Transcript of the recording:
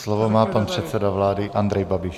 Slovo má pan předseda vlády Andrej Babiš.